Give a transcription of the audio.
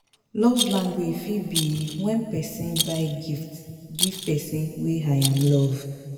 Love language fit be when persin buy gift give persin wey I'm love